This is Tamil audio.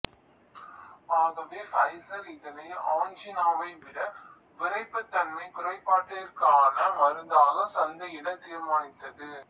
ஆகவே ஃபைசர் இதனை ஆன்ஜினாவைவிட விறைப்புத் தன்மை குறைபாட்டிற்கான மருந்தாக சந்தையிட தீர்மானித்தது